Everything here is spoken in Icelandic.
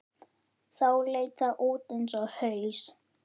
Þá leit það út eins og haus.